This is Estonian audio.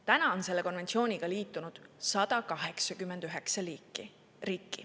Tänaseks on selle konventsiooniga liitunud 189 riiki.